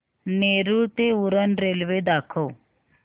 नेरूळ ते उरण रेल्वे दाखव